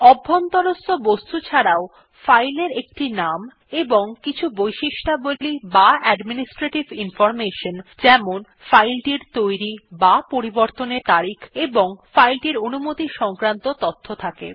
অভ্যন্তরস্থ বস্তু ছাড়াও ফাইলের একটি নাম এবং কিছু বৈশিষ্ট্যাবলী বা অ্যাডমিনিস্ট্রেটিভ ইনফরমেশন যেমন ফাইল টির তৈরী বা পরিবর্তনের তারিখ ও অনুমতি সংক্রান্ত তথ্য থাকে